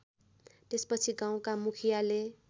त्यसपछि गाउँका मुखियाले